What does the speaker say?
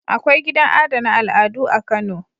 Akwai gidan adana al'adu a Kano.